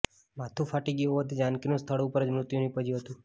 માથું ફાટી ગયું હોવાથી જાનકીનું સ્થળ ઉપર જ મૃત્યુ નિપજ્યું હતું